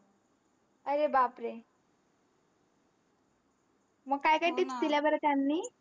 अरे बापरे! मग काय काय tips दिल्या बरं त्यांनी?